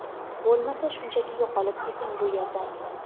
bo‘lmasa shunchaki yo‘qolib keting bu yerdan.